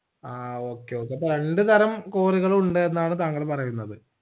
ആ okay okay അപ്പൊ രണ്ട്തരം cory കളുമുണ്ടെന്നാണ് താങ്കൾ പറയുന്നത്